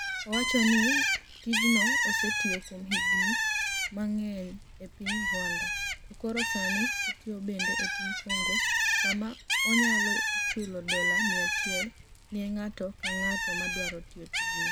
'Owacho nii tijno osetiyo kuom higinii manig'eniy e piniy Rwanida, to koro sanii otiyo benide e piniy Conigo, kama oniyalo chulo dola 100 ni e nig'ato anig'ata madwaro tiyo tijno.